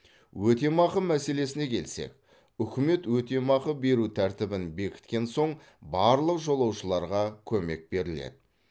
өтемақы мәселесіне келсек үкімет өтемақы беру тәртібін бекіткен соң барлық жолаушыларға көмек беріледі